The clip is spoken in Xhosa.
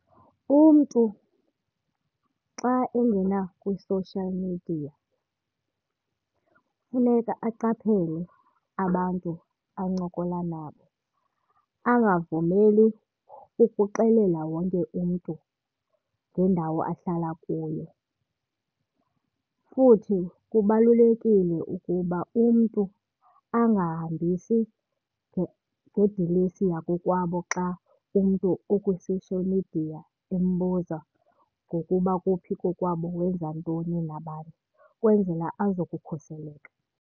Umntu xa engena kwi-social media funeka aqaphele abantu ancokola nabo, angavumeli ukuxelela wonke umntu ngendawo ahlala kuyo. Futhi kubalulekile ukuba umntu angahambisi ngedilesi yakokwabo xa umntu okwi-social media embuza ngokuba kuphi kokwabo, wenza ntoni nabani ukwenzela azokukhuseleka.